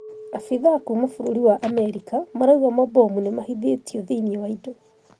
Abithaa kuuma bũruri wa America marauga mabomu nomabithwe thĩinĩ wa indo